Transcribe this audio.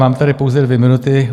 Mám tady pouze dvě minuty.